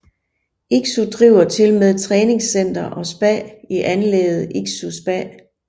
Iksu driver tilmed træningscenter og spa i anlægget Iksu spa